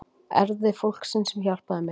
Erfiði fólksins sem hjálpaði mér.